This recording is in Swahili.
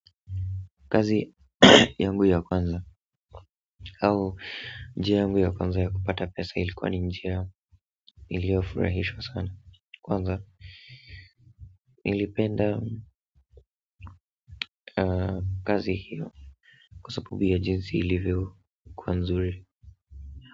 Kazi yangu ya kwanza au njia yangu ya kwanza ya kupata pesa ilikuwa ni njia iliyofurahishwa sana kwanza nilipenda kazi hiyo kwa sabubi ya jinsi ilivyokuwa nzuri.